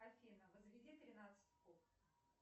афина возведи тринадцать в куб